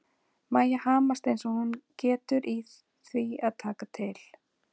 Mæja hamast eins og hún getur í því að taka til.